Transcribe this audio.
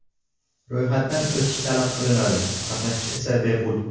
Ro‘yxatdan o‘tish talab qilinadi, qatnashish esa bepul.